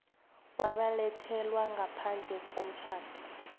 wabelethelwa ngaphandle komtjhado